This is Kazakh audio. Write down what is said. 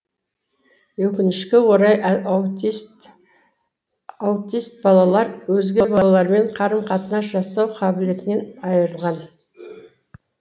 өкінішке орай аутист балалар өзге балалармен қарым қатынас жасау қабілетінен айырылған